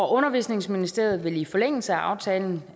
undervisningsministeriet vil i forlængelse af aftalen